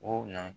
O na